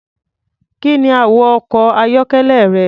Kí ni àwọ̀ ọkọ̀-ayọ́kẹ́lẹ́ rẹ?